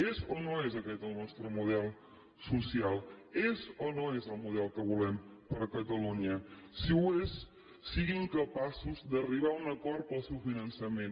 és o no és aquest el nostre model social és o no és el model que volem per a catalunya si ho és siguin capaços d’arribar a un acord per al seu finançament